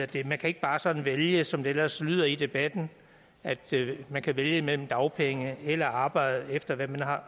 det man kan ikke bare sådan vælge som det ellers lyder i debatten at man kan vælge mellem dagpenge og arbejde efter hvad man